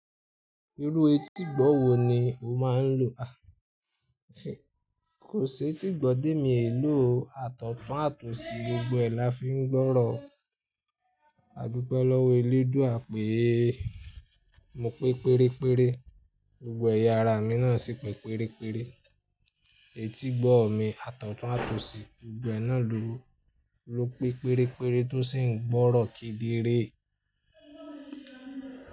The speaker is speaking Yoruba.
Irú etígbọ̀ wò ni o máa n lò? Kò ṣe tí gbọ́ ti emi ò lò, àtọ̀tún àti osi gbogbo ẹ láfi ń gbọ́rọ̀. Adupẹ lọ́wọ́ eléè dúa pèèé, mo pé péré péré, gbogbo ẹ̀yà ara mi náà sì pé péré péré. Etígbọ̀ mi, àtọ̀tún àti osi gbogbo ẹná ló pé péré péré tó sì ń gbọ́rọ kederè.